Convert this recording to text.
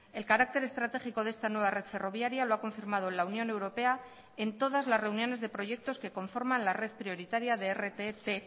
el carácter estratégico de esta nueva red ferroviaria lo ha confirmado la unión europea en todas las reuniones de proyectos que conforman la red prioritaria de rtt